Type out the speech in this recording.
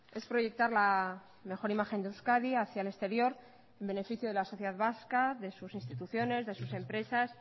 es proyectar la mejor imagen de euskadi hacia el exterior en beneficio de la sociedad vasca de sus instituciones de sus empresas